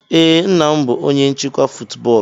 Ee, nna m bụ onye nchịkwa football.